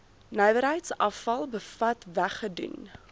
nywerheidsafval bevat weggedoen